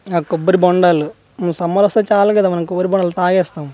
ఆ కొబ్బరి బొండాలు ఊ సమర్ వస్తే చాలు కదా మనకు కొబ్బరి బొండాలు తాగేస్తాం .]